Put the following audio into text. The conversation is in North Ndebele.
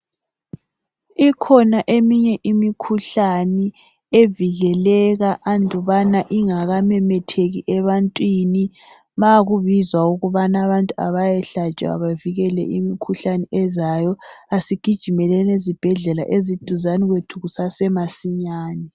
Ikhona eminye imikhuhlane evikeleka andubana ingaka memetheki ebantwini ma kubizwa ukubana abantu abayehlatshwa bevikele imikhuhlane ezayo asigijimeleni ezibhedlela eziduzane kwethu kusase masinyane.